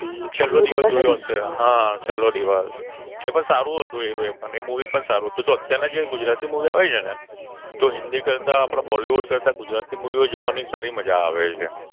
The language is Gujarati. છેલ્લો દિવસ હા છેલ્લો દિવસ તે પણ સારું હતું તે પણ Movie સારું હતું અત્યારના ગુજરાતી Movie આવે છે તો હિન્દી કરતા આપડા Bollywood કરતા ગુજરાતી Movie ઓ જોવાની વધારે મજા આવે છે.